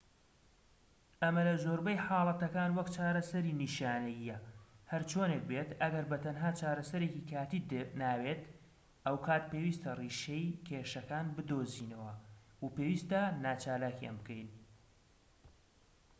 ئەمە لە زۆربەی حاڵەتەکان وەک چارەسەری نیشانەییە هەرچۆنێک بێت ئەگەر بە تەنها چارەسەرێکی کاتییت ناوێت ئەو کات پێویستە ڕیشەی کێشەکان بدۆزینەوە و پێویستە ناچالاکیان بکەین